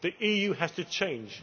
The EU has to change.